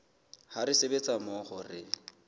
ha re sebetsa mmoho re